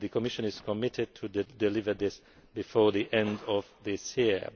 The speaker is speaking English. The Commission is committed to deliver this before the end of this year.